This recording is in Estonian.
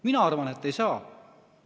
Mina arvan, et ei saa.